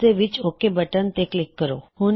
ਓਸਦੇ ਵਿੱਚ OK button ਉੱਤੇ ਕਲਿੱਕ ਕਰੋ